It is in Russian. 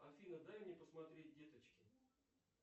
афина дай мне посмотреть деточки